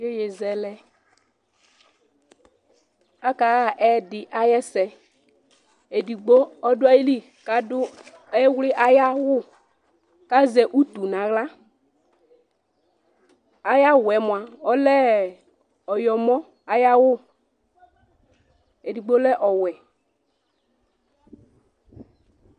Iyeyezɛlɛ, aka ha ɛ̃dì ayi ɛsɛ, edigbo ɔdu ayili k'adu ɔwli ayi awù k'azɛ utu n'aɣla, ayi awùɛ mua ɔlɛ ɔyɔmɔ ayi awù, edigbo lɛ ɔwɛ